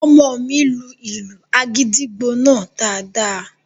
Ọmọ mi lu ìlù àgìdìgbò náà daadaa